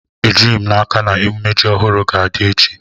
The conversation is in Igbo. Ejighi m n'aka ma emume ji ohuru ga-adi echi